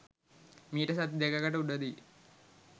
මීට සති දෙකකට උඩ දී.